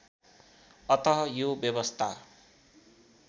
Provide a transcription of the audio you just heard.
अतः यो व्यवस्था